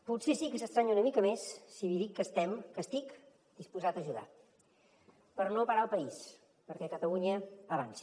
potser sí que s’estranya una mica més si li dic que estem que estic disposat a ajudar per no parar el país perquè catalunya avanci